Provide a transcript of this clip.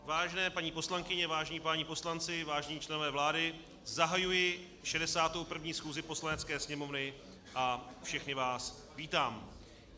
Vážené paní poslankyně, vážení páni poslanci, vážení členové vlády, zahajuji 61. schůzi Poslanecké sněmovny a všechny vás vítám.